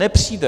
Nepřijde.